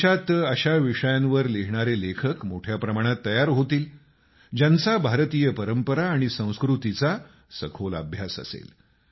देशात अशा विषयांवर लिहिणारे लेखक मोठ्या प्रमाणात तयार होतील ज्यांचा भारतीय परंपरा आणि संस्कृतीचा सखोल अभ्यास असेल